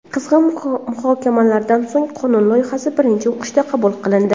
Qizg‘in muhokamalardan so‘ng qonun loyihasi birinchi o‘qishda qabul qilindi.